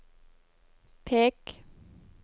pek